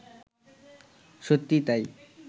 সত্যিই তাই